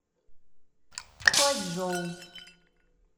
хуачжоу